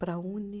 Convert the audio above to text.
Para a Uni.